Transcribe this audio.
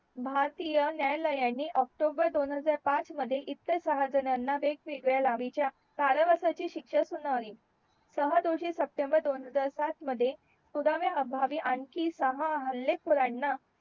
भारतीय न्यायालायनी ऑक्टोबर दोन पाच मध्ये इतर सहा जणांना वेग वेगळ्या लांबीच्या कारावासाची शिक्षा सुनावली सहा दोषी सप्टेंबर दोन हजार सात मध्ये पुराव्या अभावी आणखी सहा हले खोराना